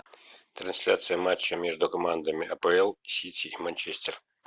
трансляция матча между командами апл сити и манчестер